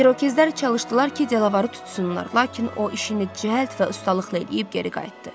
İrokezlər çalışdılar ki, Delavarı tutsunlar, lakin o işini cəld və ustalıqla eləyib geri qayıtdı.